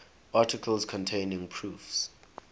articles containing proofs